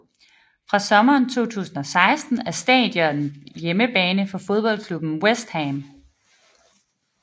Fra sommeren 2016 er stadionet hjemmebane for fodboldklubben West Ham